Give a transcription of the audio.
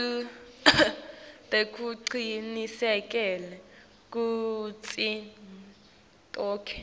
tekucinisekisa kutsi tonkhe